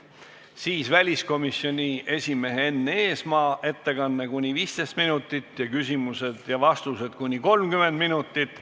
Seejärel on väliskomisjoni esimehe Enn Eesmaa ettekanne kuni 15 minutit ja küsimused-vastused kuni 30 minutit.